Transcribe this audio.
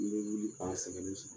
N bɛ wili k'a sɛgɛnnen sɔrɔ.